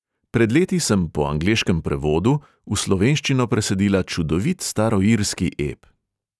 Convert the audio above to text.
Pred leti sem po angleškem prevodu v slovenščino presadila čudovit staroirski ep.